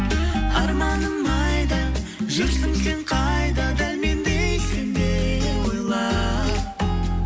арманым айда жүрсің сен қайда дәл мендей сен де ойла